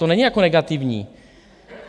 To není jako negativní.